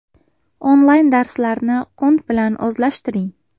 Onlayn darslarni qunt bilan o‘zlashtiring.